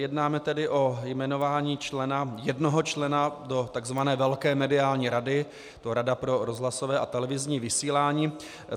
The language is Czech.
Jednáme tedy o jmenování člena, jednoho člena do tzv. velké mediální rady, je to Rada pro rozhlasové a televizní vysílání.